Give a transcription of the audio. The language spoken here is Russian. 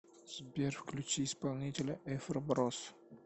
сбер включи исполнителя эфро брос